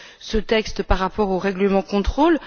ce texte par rapport au règlement de contrôle.